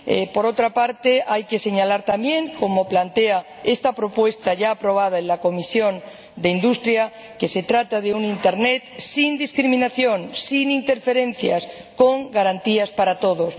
Por otra parte, hay que señalar también, como plantea esta propuesta ya aprobada en la Comisión de Industria, Investigación y Energía, que se trata de un Internet sin discriminación, sin interferencias, con garantías para todos